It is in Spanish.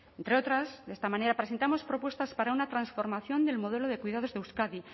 entre otras de esta manera presentamos propuestas para una transformación del modelo de cuidados de euskadi